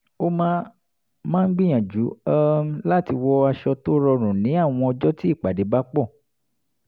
ó máa máa ń gbíyànjú um láti wọ aṣọ tó rọrùn ní àwọn ọjọ́ tí ìpàdé bá pọ̀